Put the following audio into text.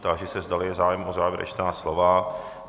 Táži se, zdali je zájem o závěrečná slova.